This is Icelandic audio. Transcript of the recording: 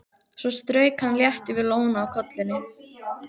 Svo strauk hann létt yfir lóna á kollinum.